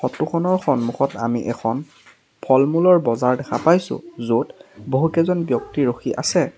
Photo খনৰ সন্মুখত আমি এখন ফল মূলৰ বজাৰ দেখা পাইছোঁ য'ত বহুকেইজন ব্যক্তি ৰখি আছে।